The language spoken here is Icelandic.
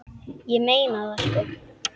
Ég meina það sko.